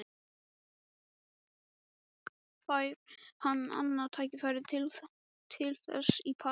Fær hann annað tækifæri til þess í París?